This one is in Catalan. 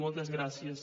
moltes gràcies